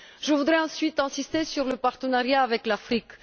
Je voudrais ensuite insister sur le partenariat avec l'Afrique.